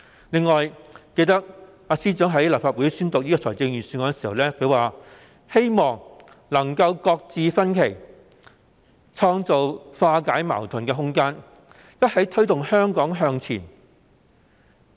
還記得司長在立法會宣讀預算案時，提到希望能夠擱置分歧，創造化解矛盾的空間，一起推動香港向前。